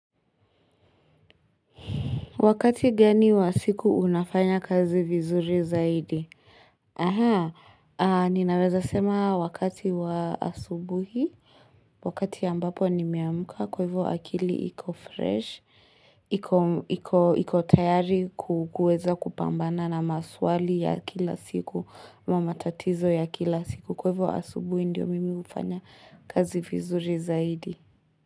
Wakati gani wa siku unafanya kazi vizuri zaidi? Aha, ninaweza sema wakati wa asubuhi, wakati ambapo nimeamka kwa ivo akili iko fresh, iko tayari kuweza kupambana na maswali ya kila siku, na matatizo ya kila siku kwa ivo asubuhi ndio mimi ufanya kazi vizuri zaidi.